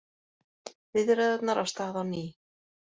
Viðræðurnar af stað á ný